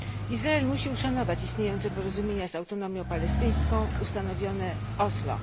Izrael musi uszanować istniejące porozumienia z Autonomią Palestyńską ustanowione w Oslo.